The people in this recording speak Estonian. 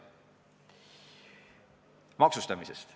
Veidi ka maksustamisest.